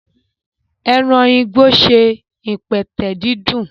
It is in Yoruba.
Eran igbo ṣe ipẹtẹ didun.